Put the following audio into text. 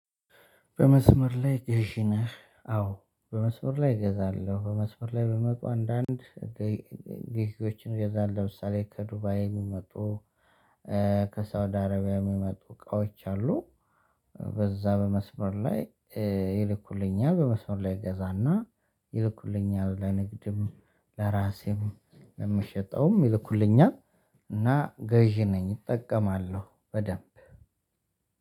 በመስመር ላይ ገዢ ነህ? አዎ በመስመር ላይ እገዛለሁ በመስመር ላይ በሚመጡ አንዳንድ ግዥዎችን እገዛለሁ ለምሳሌ ከዱባይ የሚመጡ ከሳውዲ አረቢያ የሚመጡ እቃዎች አሉ፤ በዛ በመስመር ላይ ይልኩልኛል በመስመር ላይ እገዛና ይልኩልኛል ለንግድም ለራሴም ለምሸጠውም ይልኩልኛል እና ገዢ ነኝ እጠቀማለሁ በደንብ።